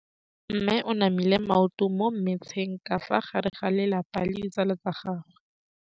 Mme o namile maoto mo mmetseng ka fa gare ga lelapa le ditsala tsa gagwe.